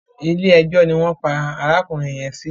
Ilé ẹjọ́ ni wọ́n pa arákùnrin yẹn sí.